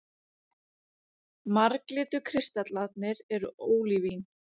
Marglitu kristallarnir eru ólívín.